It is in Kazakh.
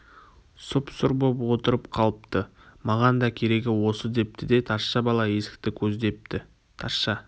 сұп-сұр боп отырып қалыпты маған да керегі осы депті де тазша бала есікті көздепті тазша